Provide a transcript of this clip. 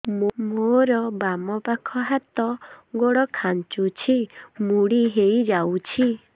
ମୋର ବାମ ପାଖ ହାତ ଗୋଡ ଖାଁଚୁଛି ମୁଡି ହେଇ ଯାଉଛି